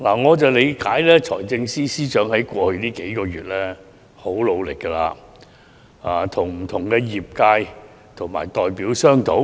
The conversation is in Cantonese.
我了解到，財政司司長在過去數月已很努力與不同的業界和代表商討。